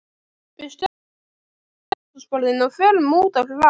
Við stöndum upp frá eldhúsborðinu og förum út á hlað.